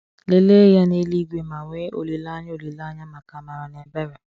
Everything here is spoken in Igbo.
Lelee Ya n’Eluigwe ma nwee olileanya olileanya maka amara na ebere.